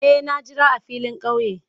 Eh, na jira a filin kauye.